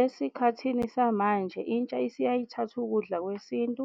Esikhathini samanje, intsha isiyaye ithathe ukudla kwesintu